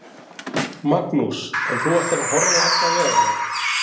Magnús: En þú ætlar að horfa á alla veganna?